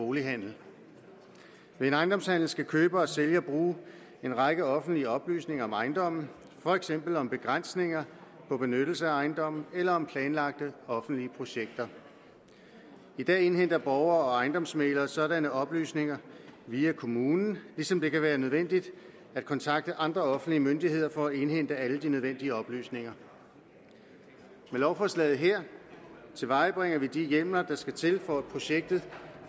bolighandel ved en ejendomshandel skal køber og sælger bruge en række offentlige oplysninger om ejendommen for eksempel om begrænsninger på benyttelse af ejendommen eller om planlagte offentlige projekter i dag indhenter borgere og ejendomsmæglere sådanne oplysninger via kommunen ligesom det kan være nødvendigt at kontakte andre offentlige myndigheder for at indhente alle de nødvendige oplysninger med lovforslaget her tilvejebringer vi de hjemler der skal til for at projektet